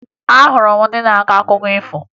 Ahụrụ m ndị na-akọ akụkọ ifo